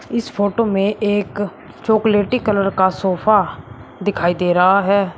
इस फोटो में एक चॉकलेटी कलर का सोफा दिखाई दे रहा है।